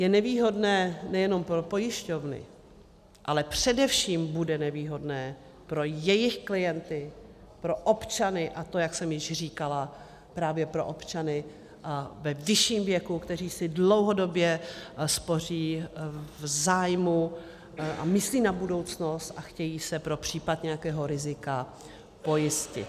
Je nevýhodné nejenom pro pojišťovny, ale především bude nevýhodné pro jejich klienty, pro občany, a to, jak jsem již říkala, právě pro občany ve vyšším věku, kteří si dlouhodobě spoří v zájmu a myslí na budoucnost a chtějí se pro případ nějakého rizika pojistit.